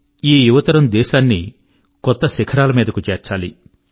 ఈ యువతరం దేశాన్ని కొత్త శిఖరాల మీదకు చేర్చాలి